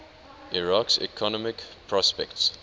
iraq's economic prospects